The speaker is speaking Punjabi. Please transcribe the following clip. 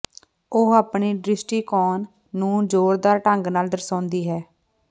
ਉਹ ਆਪਣੀ ਦ੍ਰਿਸ਼ਟੀਕੋਣ ਨੂੰ ਜ਼ੋਰਦਾਰ ਢੰਗ ਨਾਲ ਦਰਸਾਉਂਦੀ ਹੈ